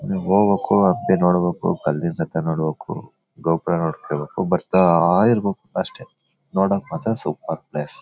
ಹೋಗ್ಬೇಕು ಹತ್ತಿ ನೋಡ್ಬೇಕು ಕಲ್ಲಿನ ರಥ ನೋಡ್ಬೇಕು ಗೋಪುರ ನೋಡ್ಕೋಬೇಕು ಬರ್ತಾಇರ್ಬೇಕು ಅಷ್ಟೇ ನೋಡೋಕ್ಕೆ ಮಾತ್ರ ಸೂಪರ್ ಪ್ಲೇಸ್ .